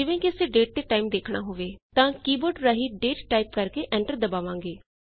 ਜਿਵੇਂ ਕਿ ਅਸੀਂ ਡੇਟ ਅਤੇ ਟਾਈਮ ਦੇਖਣਾ ਹੋਵੇ ਤਾਂ ਕੀ ਬੋਰਡ ਰਾਹੀਂ ਦਾਤੇ ਟਾਈਪ ਕਰ ਕੇ ਐਂਟਰ ਦਬਾਵਾਂਗੇ